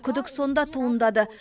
күдік сонда туындады